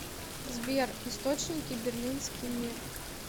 сбер источники берлинский мир